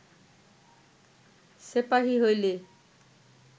সেপাহী হইলে